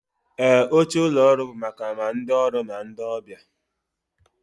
Ee, oche ụlọ ọrụ bụ maka ma ndị ọrụ na ndị ọbịa